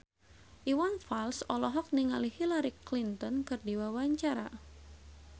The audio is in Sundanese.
Iwan Fals olohok ningali Hillary Clinton keur diwawancara